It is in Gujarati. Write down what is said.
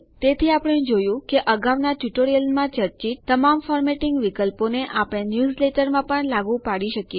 તેથી આપણે જોયું કે અગાઉના ટ્યુટોરિયલોમાંનાં ચર્ચિત તમામ ફોર્મેટિંગ વિકલ્પોને આપણે ન્યૂઝલેટરોમાં પણ લાગુ પાડી શકીએ છે